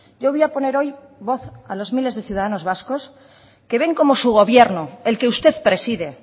yo voy a poner hoy voz a los miles de ciudadanos vascos que ven como su gobierno el que usted preside